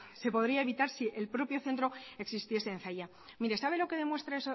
se podría evitar si el propio centro existiese en zalla mire sabe lo que demuestra